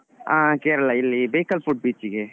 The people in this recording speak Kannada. ಹ Kerala ಇಲ್ಲಿ Bekal Fort beach ಗೆ.